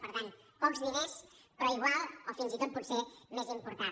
per tant pocs diners però igual o fins i tot potser més important